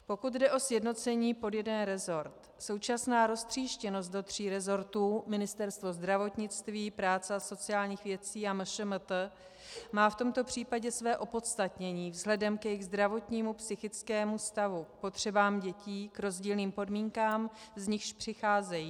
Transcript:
Pokud jde o sjednocení pod jeden resort, současná roztříštěnost do tří resortů, ministerstva zdravotnictví, práce a sociálních věcí a MŠMT, má v tomto případě své opodstatnění vzhledem k jejich zdravotnímu, psychickému stavu, potřebám dětí, k rozdílným podmínkám, z nichž přicházejí.